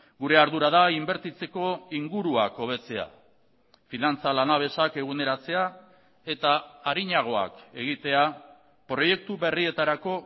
gure ardura da inbertitzeko inguruak hobetzea finantza lanabesak eguneratzea eta arinagoak egitea proiektu berrietarako